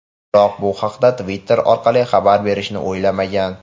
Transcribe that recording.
Biroq bu haqda Twitter orqali xabar berishni o‘ylamagan.